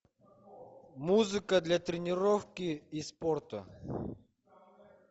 музыка для тренировки и спорта